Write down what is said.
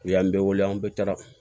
U y'an bɛɛ wele an bɛ taga